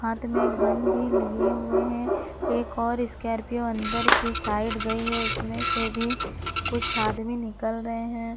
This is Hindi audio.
हाथ में गन भी लिए हुवे हैं एक स्कार्पियो अंदर की साइड गई है उसमें से भी कुछ आदमी निकल रहे हैं।